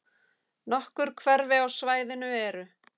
Nokkur hverfi á svæðinu eru